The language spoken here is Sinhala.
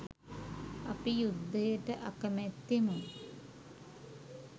අපි යුද්ධයට අකැමැත්තෙමු.